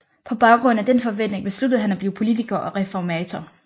På baggrund af den forventning besluttede han at blive politiker og reformator